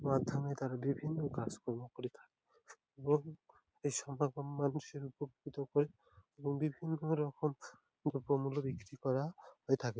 মাধ্যমে তারা বিভিন্ন কাজকর্ম করে থাকে এবং এই সমাগম মানুষের উপকৃত করে এবং বিভিন্ন রকম দ্রব্যমূল্য বিক্রি করা হয়ে থাকে।